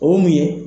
O ye mun ye